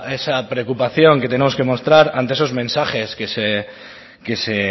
esa preocupación que tenemos que mostrar ante esos mensajes que se